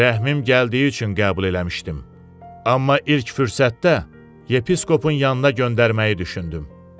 Rəhmim gəldiyi üçün qəbul eləmişdim, amma ilk fürsətdə yepiskopun yanına göndərməyi düşündüm.